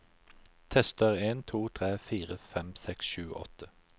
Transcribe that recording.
Tester en to tre fire fem seks sju åtte